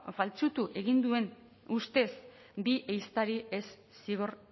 faltsutu egin duen ustez bi ehiztariri ez zigor